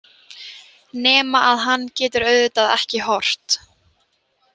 Nema að hann getur auðvitað ekki horft.